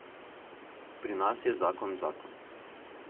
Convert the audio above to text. Pri nas je zakon zakon.